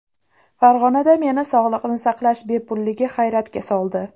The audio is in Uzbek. Farg‘onada meni sog‘liqni saqlash bepulligi hayratga soldi.